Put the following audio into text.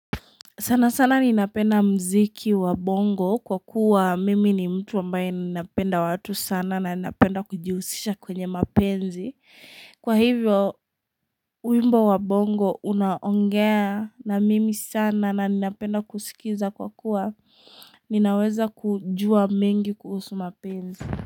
Sana sana ninapenda mziki wa bongo kwa kuwa mimi ni mtu ambaye ninapenda watu sana na ninapenda kujihusisha kwenye mapenzi. Kwa hivyo, wimbo wa bongo unaongea na mimi sana na ninapenda kusikiza kwa kuwa ninaweza kujua mengi kuhusu mapenzi.